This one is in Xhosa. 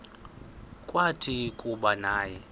kwathi kuba naye